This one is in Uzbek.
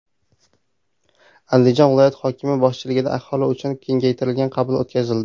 Andijon viloyati hokimi boshchiligida aholi uchun kengaytirilgan qabul o‘tkazildi.